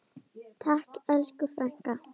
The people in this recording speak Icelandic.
Takk elsku frænka.